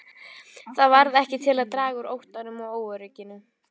Það varð ekki til að draga úr óttanum og óörygginu.